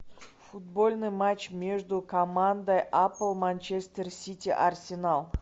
футбольный матч между командой апл манчестер сити арсенал